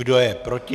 Kdo je proti?